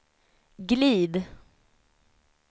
glid